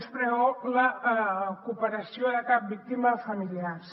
no es preveu la cooperació de cap víctima de familiars